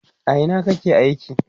a Ina kake aiki?